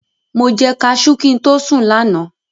Mo jẹ kaṣú kí n tó sùn lánàá.